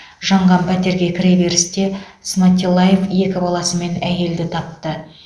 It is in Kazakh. жанған пәтерге кіреберісте сматиллаев екі баласымен әйелді тапты